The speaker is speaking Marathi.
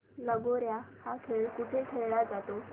लगोर्या हा खेळ कुठे खेळला जातो